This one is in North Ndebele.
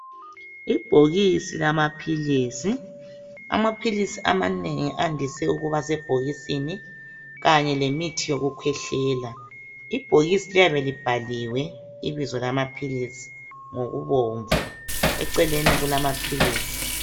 Ibhokisi lamaphilisi. Amaphilisi amanengi andise ukubasebhokisini kanye lemithi yokukhwehlela. Ibhokisi liyabe libhaliwe ibizo lamaphilisi ngokubomvu. Eceleni kulamaphilisi.